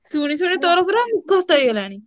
ଶୁଣି ଶୁଣି ତୋର ପୁରା ଘୋଷ ହେଇଗଲାଣି।